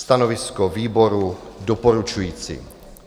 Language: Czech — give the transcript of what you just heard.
Stanovisko výboru doporučující.